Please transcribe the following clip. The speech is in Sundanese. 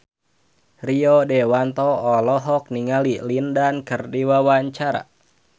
Rio Dewanto olohok ningali Lin Dan keur diwawancara